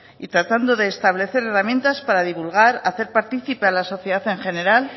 y tratando de establecer herramientas para divulgar hacer partícipe a la sociedad en general